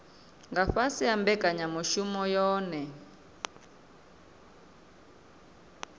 nga fhasi ha mbekanyamushumo yohe